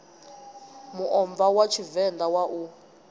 muomva wa tshivenḓa wa u